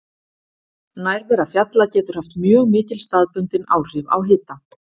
Nærvera fjalla getur haft mjög mikil staðbundin áhrif á hita.